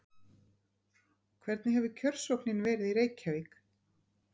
Hvernig hefur kjörsóknin verið í Reykjavík?